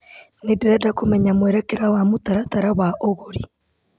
Nĩndĩrenda kũmenya mwerekera wa mũtaratata wa ũgũri .